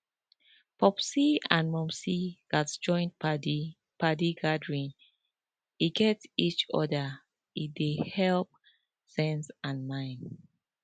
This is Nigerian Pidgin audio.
popsi and momsi gatz join padi padi gathering wey gat each other e dey helep sense and mind